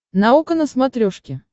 наука на смотрешке